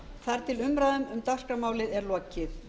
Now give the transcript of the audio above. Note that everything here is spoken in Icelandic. þar til umræðu um dagskrármálið er lokið